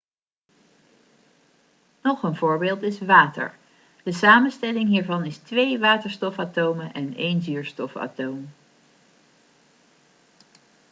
nog een voorbeeld is water de samenstelling hiervan is twee waterstofatomen en een zuurstofatoom